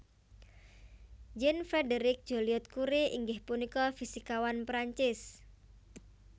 Jean Frédéric Joliot Curie inggih punika fisikawan Prancis